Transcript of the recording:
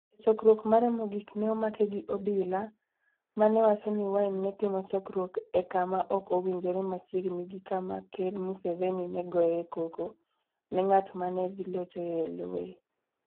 E chokruok mare mogik, ne omake gi obila, ma ne wacho ni Wine ne timo chokruok e kama ok owinjore machiegni gi kama Ker Museveni ne goyoe koko ne ng'at ma ne dhi locho e loye.